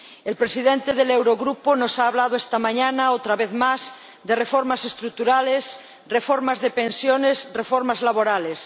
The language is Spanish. El presidente del Eurogrupo nos ha hablado esta mañana, otra vez más, de reformas estructurales, reformas de pensiones, reformas laborales.